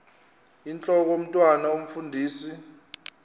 intlok omntwan omfundisi